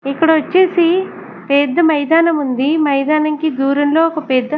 ఇక్కడ వచ్చేసి పెద్ద మైదానం ఉంది మైదానంకి దూరంలో ఒక పెద్ద.